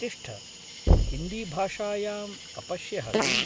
तिष्ठ, हिन्दीभाषायाम् अपश्यः किम्?